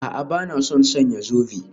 A'a, ba na son sanya zobe